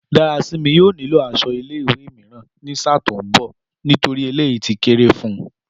Dárasími yóò nílò aṣọ ilé ìwé mìíràn ní sáà tó ń bọ̀ nítorí eléyìí ti kéré fun